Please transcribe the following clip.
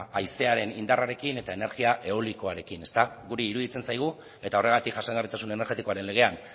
haizearen indarrarekin eta energia eolikoarekin guri iruditzen zaigu eta horregatik jasangarritasun energetikoaren legean